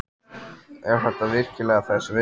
Er þetta virkilega þess virði?